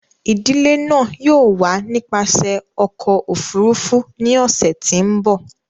Idile náa yóò wa nipasẹ ọkọ ofurufu ni ọsẹ ti n bọ.